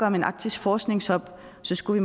om en arktisk forskningshub skulle